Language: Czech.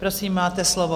Prosím, máte slovo.